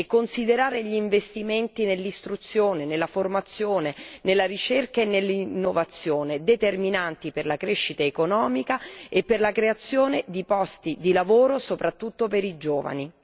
Inoltre, dobbiamo considerare gli investimenti nell'istruzione, nella formazione, nella ricerca e nell'innovazione come determinanti per la crescita economica e per la creazione di posti di lavoro, soprattutto per i giovani.